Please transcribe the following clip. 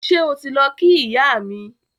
Ṣé o ti lọ kí ìyá mi